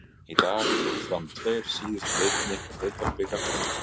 Í dag fóru fram tveir síðustu leikirnir í Deildabikar kvenna.